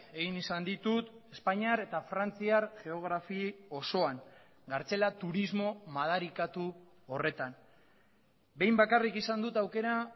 egin izan ditut espainiar eta frantziar geografi osoan kartzela turismo madarikatu horretan behin bakarrik izan dut aukera